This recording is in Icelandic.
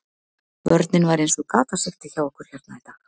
Vörnin var eins og gatasigti hjá okkur hérna í dag.